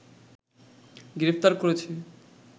গ্রেফতার করেছে